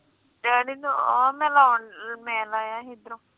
ਆ ਮੈ ਆਹ ਲਾਯਾ ਸੀ ਅਦਰੋ